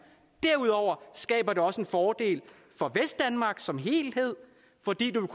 derudover skaber det også en fordel for vestdanmark som helhed fordi du